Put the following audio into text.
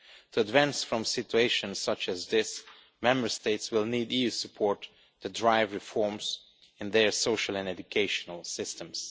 To advance from situations such as this, Member States will need EU support to drive reforms in their social and education systems.